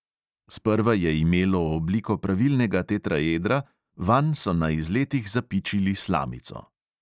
Sprva je imelo obliko pravilnega tetraedra, vanj so na izletih zapičili slamico.